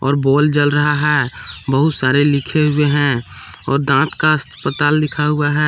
और बॉल जल रहा है बहुत सारे लिखे हुए हैं और दांत का अस्पताल लिखा हुआ है।